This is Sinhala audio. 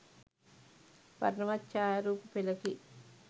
වර්ණවත් ඡායාරූප පෙළකි.